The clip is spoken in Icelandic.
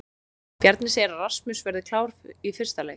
Bjarni segir að Rasmus verði klár í fyrsta leik.